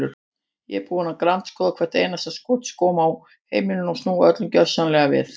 Ég er búin að grandskoða hvert einasta skúmaskot á heimilinu og snúa öllu gjörsamlega við.